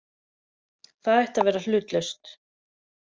Það ætti að vera hlutlaust.